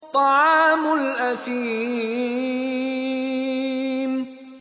طَعَامُ الْأَثِيمِ